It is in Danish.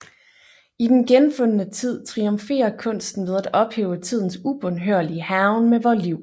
I Den genfundne tid triumferer kunsten ved at ophæve tidens ubønhørlige hærgen med vore liv